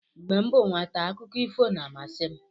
Mgbe m bụ nwata, akụkọ ifo na-amasị m